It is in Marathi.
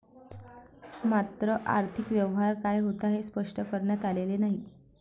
मात्र, आर्थिक व्यवहार काय होता, हे स्पष्ट करण्यात आलेले नाही.